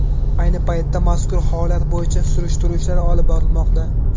Ayni paytda mazkur holat bo‘yicha surishtiruv ishlari olib borilmoqda.